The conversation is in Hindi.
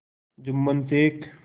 जुम्मन शेख